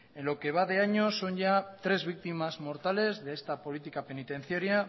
en lo que va de año son ya tres víctimas mortales de esta política penitenciaria